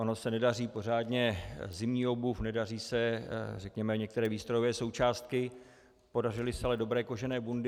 Ona se nedaří pořádně zimní obuv, nedaří se, řekněme, některé výstrojové součástky, podařily se ale dobré kožené bundy.